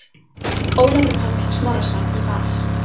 Ólafur Páll Snorrason í Val